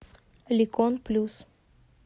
ликон плюс